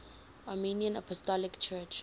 armenian apostolic church